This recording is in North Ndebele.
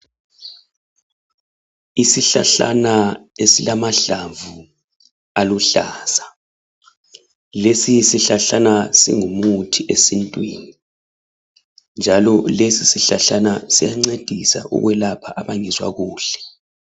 Isihlahlana esilamahlamvu aluhlaza lesi sihlahlana singumuthi esintwini njalo lesi sihlahlana siyancedisa ukwelapha abangezwa kuhle.